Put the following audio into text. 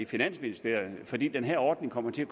finansministeriet fordi den her ordning kommer til at